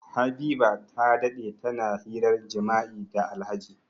Habiba ta dade tana hirar jima'i da Alhaji.